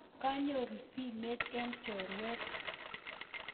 Kanyoru simet eng choruet